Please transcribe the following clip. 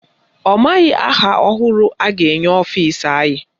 Ọ maghị aha ọhụrụ a ga-enye ọfisi anyị.